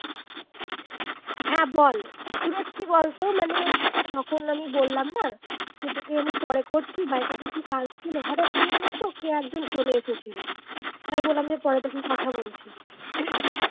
হ্যাঁ বল সুরেশ কি বলতো মানে তখন আমি বললাম না যে তোকে আমি পরে করছি বাড়িতে কিছু কাজ ছিল হঠাৎ করে জানিস তো কে একজন চলে এসেছিল তাই বললাম যে পরে তখন কথা বলছি